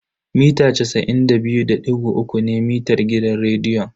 Mita casa'in da biyu da digo uku ne mitar gidan rediyon.